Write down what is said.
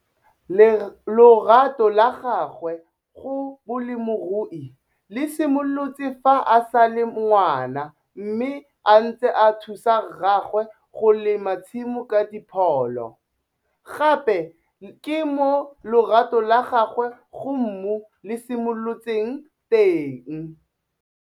Lorato la gagwe go bolemirui le simolotse fa a sa le Ngwana mme a ntse a thusa rraagwe go lema tsimo ka dipholo. Gape ke mo lorato la gagwe go mmu le simolotseng teng.